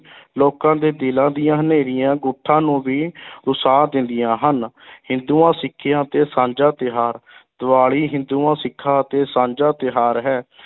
ਲੋਕਾਂ ਦੇ ਦਿਲਾਂ ਦੀਆਂ ਹਨੇਰੀਆਂ ਗੁੱਠਾਂ ਨੂੰ ਵੀ ਰੁਸ਼ਾ ਦਿੰਦੀਆਂ ਹਨ ਹਿੰਦੂਆਂ ਸਿੱਖਾਂ ਤੇ ਸਾਂਝਾ ਤਿਉਹਾਰ ਦੀਵਾਲੀ ਹਿੰਦੂਆਂ-ਸਿੱਖਾਂ ਅਤੇ ਸਾਂਝਾ ਤਿਉਹਾਰ ਹੈ।